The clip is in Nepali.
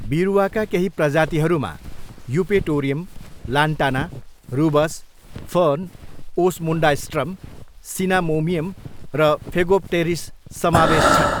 बिरुवाका केही प्रजातिहरूमा Eupatorium, Lantana, Rubus, fern, Osmundastrum Cinnamomeum र फेगोप्टेरिस समावेश छन्।